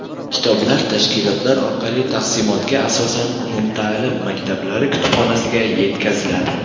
Kitoblar tashkilotlar orqali taqsimotga asosan umumta’lim maktablari kutubxonasiga yetkaziladi.